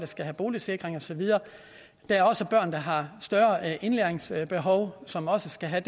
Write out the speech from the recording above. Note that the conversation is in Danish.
skal have boligsikring og så videre der er også børn der har større indlæringsbehov som også skal have